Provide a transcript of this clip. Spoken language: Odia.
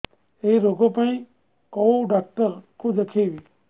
ଏଇ ରୋଗ ପାଇଁ କଉ ଡ଼ାକ୍ତର ଙ୍କୁ ଦେଖେଇବି